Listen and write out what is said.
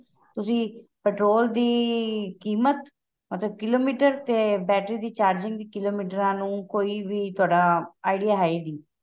ਤੁਸੀਂ petrol ਦੀ ਕ਼ੀਮਤ ਅਤੇ ਕਿਲੋਮੀਟਰ ਤੇ battery ਦੀ charging ਦੀ ਵੀ ਕਿਲੋਮੀਟਰਾਂ ਨੂੰ ਕੋਈ ਵੀ ਤੁਹਾਡਾ idea ਹੈ ਹੀ ਨਹੀਂ